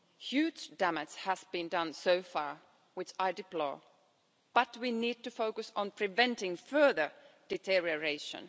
Huge damage has been done so far, which I deplore, but we need to focus on preventing further deterioration.